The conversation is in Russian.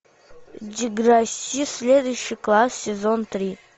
деграсси следующий класс сезон три